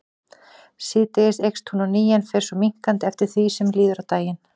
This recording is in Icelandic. Síðdegis eykst hún á ný en fer svo minnkandi eftir því sem líður á daginn.